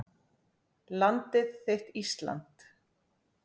Landið þitt Ísland